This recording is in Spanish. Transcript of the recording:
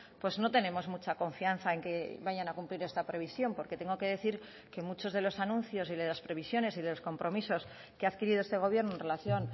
pues no tenemos mucha confianza en que vayan a cumplir esta previsión porque tengo que decir que muchos de los anuncios y de las previsiones y de los compromisos que ha adquirido este gobierno en relación